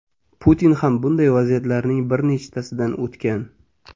Putin ham bunday vaziyatlarning bir nechtasidan o‘tgan.